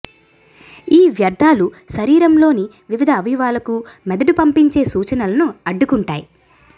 ఈ వ్యర్ధాలు శరీరంలోని వివిధ అవయవాలకు మెదడు పంపించే సూచనలను అడ్డుకుంటాయి